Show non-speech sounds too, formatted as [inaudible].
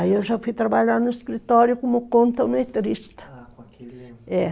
Aí eu já fui trabalhar no escritório como contometrista. Ah, com aquele [unintelligible] é